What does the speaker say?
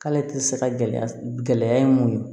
K'ale ti se ka gɛlɛya ye mun ye